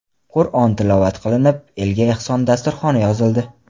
Qur’on tilovat qilinib, elga ehson dasturxoni yozildi.